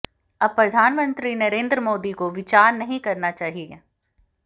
अब प्रधानमंत्री नरेंद्र मोदी को विचार नहीं करना चाहिए